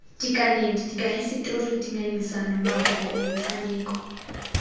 dikanedi dikahisetori dingangisano maboko metshameko